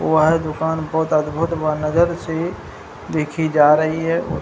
वह दुकान बहुत अद्भुत बा नजर से देखी जा रही है और --